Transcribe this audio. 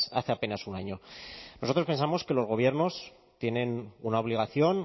hace apenas un año nosotros pensamos que los gobiernos tienen una obligación